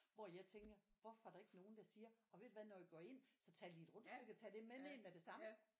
Hvor jeg tænker hvorfor er der ikke nogen der siger og ved du hvad når vi går ind så tag lige et rundstykke og tag det med ned med det samme